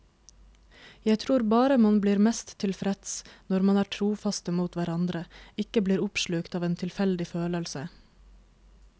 Jeg tror bare man blir mest tilfreds når man er trofaste mot hverandre, ikke blir oppslukt av en tilfeldig følelse.